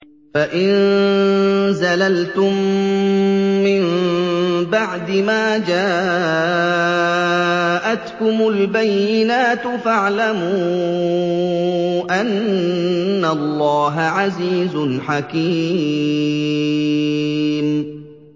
فَإِن زَلَلْتُم مِّن بَعْدِ مَا جَاءَتْكُمُ الْبَيِّنَاتُ فَاعْلَمُوا أَنَّ اللَّهَ عَزِيزٌ حَكِيمٌ